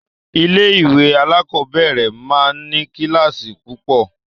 Ilé-ìwé alákọ̀ọ́bẹ̀rẹ̀ máa ń ní kíláàsì púpọ̀.